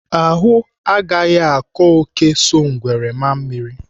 Ahụ agaghị akọ ngwere so ngwere maa mmiri!